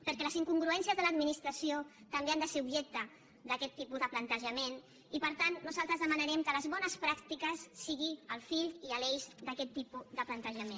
perquè les incongruències de l’administració també han de ser objecte d’aquest tipus de plantejament i per tant nosaltres demanarem que les bones pràctiques siguin el fi i l’eix d’aquest tipus de plantejament